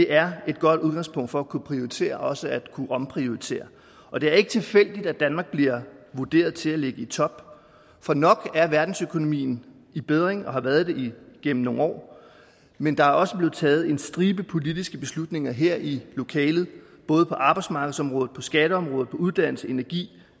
er et godt udgangspunkt for at kunne prioritere og også for at kunne omprioritere og det er ikke tilfældigt at danmark bliver vurderet til at ligge i top for nok er verdensøkonomien i bedring og har været det gennem nogle år men der er også blevet taget en stribe politiske beslutninger her i lokalet både på arbejdsmarkedsområdet og skatteområdet og på uddannelse energi